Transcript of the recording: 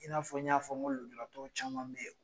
I na n y'a fɔ n ko lujuratɔw caman be yen